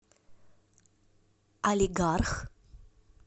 алигарх